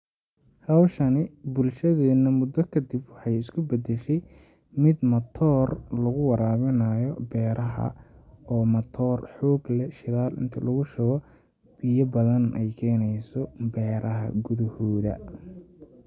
Hawshani bulshadeena mudo kadib waxay isku bedeshe mid matoor lagu waraabinayo beraha oo matoor xoog leh shidaal inti lagushubo biya badan ay keneeso beraha gudahooda.